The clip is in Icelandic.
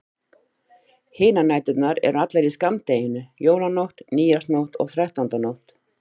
Hinar næturnar eru allar í skammdeginu: Jólanótt, nýársnótt og þrettándanótt.